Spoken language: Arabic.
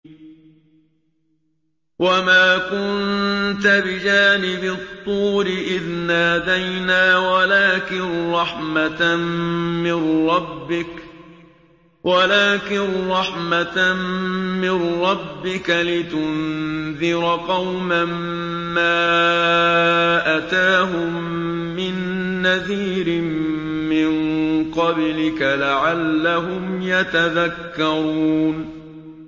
وَمَا كُنتَ بِجَانِبِ الطُّورِ إِذْ نَادَيْنَا وَلَٰكِن رَّحْمَةً مِّن رَّبِّكَ لِتُنذِرَ قَوْمًا مَّا أَتَاهُم مِّن نَّذِيرٍ مِّن قَبْلِكَ لَعَلَّهُمْ يَتَذَكَّرُونَ